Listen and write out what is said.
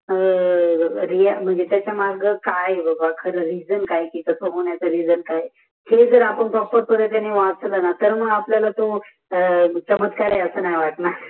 अ रीयक मंजे प्कारिपर तरीक्ययान वाचाल तर आपल्याला चमत्कार आहे अस नाही वाटणार त्याच्या मग काय बाबा खर तस होण्याचा रीगन काय हे जर आपण